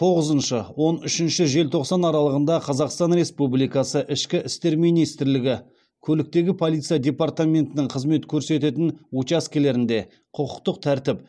тоғызыншы он үшінші желтоқсан аралығында қазақстан республикасы ішкі істер министрлігі көліктегі полиция департаментінің қызмет көрсететін учаскелерінде құқықтық тәртіп